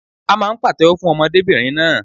À máà ń pàtéwọ́ fún ọmọdébìnrin náà.